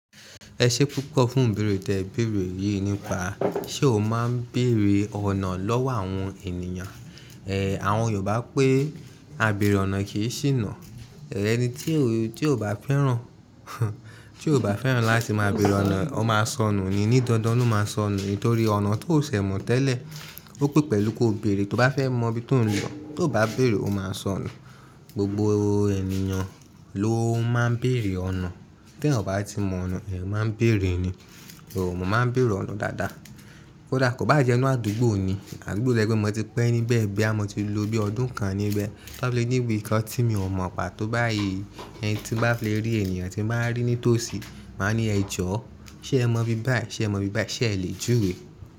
Ẹ ṣé púpọ̀ fún bèrè tí ẹ bèrè yìí nípa, ṣe o máa ń bèrè ọ̀nà lọ́wọ́ àwọn ènìyàn? Ẹ̀, àwọn Yorùbá pé, "A bèrè ọ̀nà kì í ṣìnà." Ẹni tí ò bá fẹ́ràn, tí ò bá fẹ́ràn láti máa bèrè ọ̀nà, ó máa sọnù ni, ní dandan ó máa sọnù, nítorí ọ̀nà tó ọ ṣẹ̀ mọ̀ tẹ́lẹ̀, ó pé pẹ̀lú kí o bèrè. Tó bá fẹ́ mọ ibi tó ń lọ, tó bá bèrè ó máa sọnù. Gbogbo ènìyàn ló ń má ń bèrè ọ̀nà. Kí ẹ̀yàn bá tí mọ ọ̀nà, èèyàn máa ń bèrè ni. Oòrùn mo má ń bèrè ọ̀nà dáadáa. Ó dàkọ̀ bá jẹ́ inú àdúgbò ni, àdúgbò tí ẹgbẹ́ mi ti pẹ́ níbẹ̀ bẹ́ẹ̀ bẹ́ẹ̀, a mọ ti lóbí ọdún kan níbẹ̀, tó bá lé níbi kan tí mi ò mọ̀ pa tó báyìí, ẹni tí bá fi le rí ènìyàn tí máa ń rí ní tòsí, máa ní ẹ jọ̀ọ́, ṣé ẹ mọ ibi báyìí? Ṣé ẹ mọ ibi báyìí? Ṣé ẹ lè júwé?